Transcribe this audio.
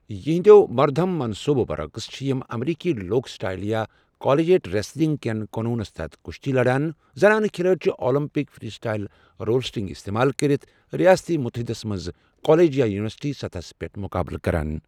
یہنٛدٮ۪و مردہم منصبَو برعکس چھِ یم امریکی لوک سٹایل یا کالجیٹ ریسلنگ کٮ۪ن قونوٗنَس تحت کُشتی لڑان، زنانہٕ کھلٲڑۍ چھِ اولمپک فری سٹایل رولسیٹک استعمال کٔرِتھ ریاستٲیی متحدَس منٛز کالج یا یوٗنیورسٹی سطحَس پٮ۪ٹھ مُقابلہٕ کران۔